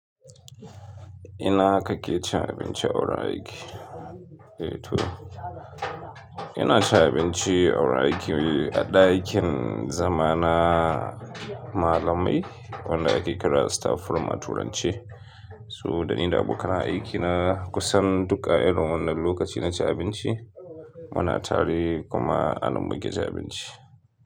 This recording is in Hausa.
Ina aka ke cin abinci a wurin aiki? Eh to ina ci abinci a wurin aiki a ɗakin zama na malamai wanda ake kira staff room a turanci. Saboda ni da abokan aiki na kusan duk a irin wannan lokaci na ci abinci muna tare kuma anan muke cin abinci.